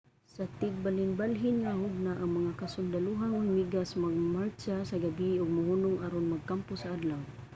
sa tigbalhinbalhin nga hugna ang mga kasundalohang hulmigas magmartsa sa gabii ug mohunong aron magkampo sa adlaw